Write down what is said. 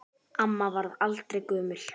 Amma varð aldrei gömul.